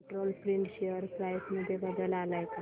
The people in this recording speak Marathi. कंट्रोल प्रिंट शेअर प्राइस मध्ये बदल आलाय का